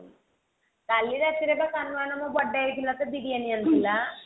କାଲି ରାତିରେ ବା ସାଙ୍ଗ ମାନକ birthday ହେଇଥିଲା ତ ବିରିଆନୀ ଆଣିଥିଲା